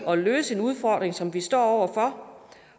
at løse en udfordring som vi står over for